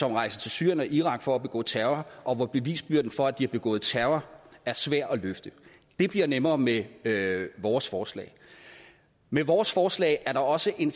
er rejst til syrien og irak for at begå terror og hvor bevisbyrden for at de har begået terror er svær at løfte det bliver nemmere med vores forslag med vores forslag er der også en